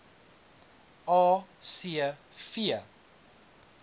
a c v